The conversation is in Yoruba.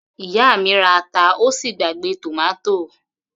Ìyá mi ra ata ó sì gbàgbé tòmátò